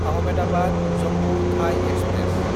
आहमेदाबाद–जम्मु थाइ एक्सप्रेस